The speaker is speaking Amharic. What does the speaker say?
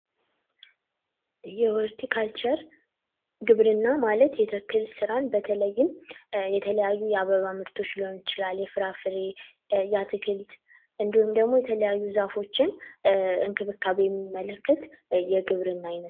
የሆልቲ ካልቸር ግብርና ማለት የተክል ሥራን በተለይም የተለያዩ የአበባ ምርቶች ሊሆን ይችላል፣ የፍራፍሬ የአትክልት እንዲሁም ደግሞ፤ የተለያዩ ዛፎችን እንክብካቤ የሚመለከት የግብርና ዓይነት ነው።